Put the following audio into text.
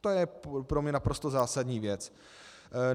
To je pro mě naprosto zásadní věc.